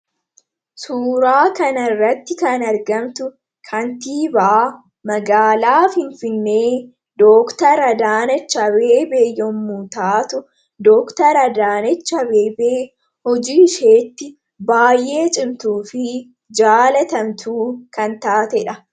suuraa kanarratti kan argamtu kantiibaa magaalaaf hinfinnee dooktara adaanach abeebee yommu taatu dooktara adaanach beebeen hojii isheetti baay'ee cimtuu fi jaalatamtu kan taate dha.